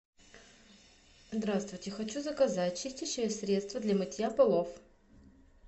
здравствуйте хочу заказать чистящее средство для мытья полов